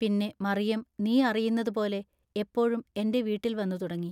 പിന്നെ മറിയം നീ അറിയുന്നതുപോലെ എപ്പോഴും എന്റെ വീട്ടിൽ വന്നു തുടങ്ങി.